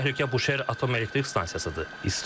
Əsas təhlükə Buşer atom elektrik stansiyasıdır.